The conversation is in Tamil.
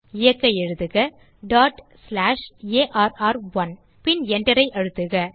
இயக்க எழுதுக டாட் ஸ்லாஷ் ஆர்1 இப்போது Enter ஐ அழுத்துக